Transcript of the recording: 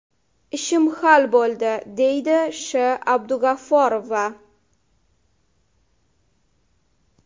Ishim hal bo‘ldi”, deydi Sh.Abdug‘afforova.